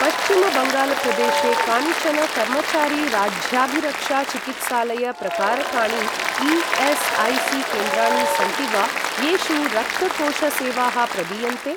पश्चिमबङ्गाल प्रदेशे कानिचन कर्मचारी राज्याभिरक्षा चिकित्सालय प्रकारकाणि ई.एस्.ऐ.सी.केन्द्राणि सन्ति वा, येषु रक्तकोष सेवाः प्रदीयन्ते?